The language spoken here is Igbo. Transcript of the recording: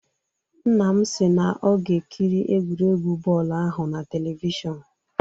Nna m si na ọ ga-ekiri egwuregwu bọọlụ ahụ na telivishọn